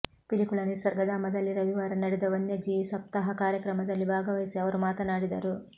ಪಿಲಿಕುಳ ನಿಸರ್ಗಧಾಮದಲ್ಲಿ ರವಿವಾರ ನಡೆದ ವನ್ಯಜೀವಿ ಸಪ್ತಾಹ ಕಾರ್ಯಕ್ರಮದಲ್ಲಿ ಭಾಗವಹಿಸಿ ಅವರು ಮಾತನಾಡಿದರು